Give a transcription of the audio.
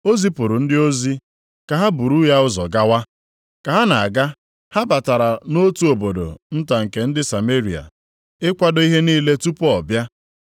O zipụrụ ndị ozi, ka ha buru ya ụzọ gawa. Ka ha na-aga ha batara nʼotu obodo nta nke ndị Sameria + 9:52 Ha na ndị Izrel enweghị ezi mmekọrịta. ịkwado ihe niile tupu ọ bịa;